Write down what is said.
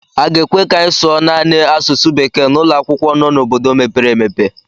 A ga-ekwe ka anyị sụọ naanị asụsụ bekee n'ụlọ akwụkwọ nọ n'obodo mepere emepe.